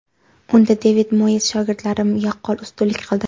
Unda Devid Moyes shogirdlari yaqqol ustunlik qildi.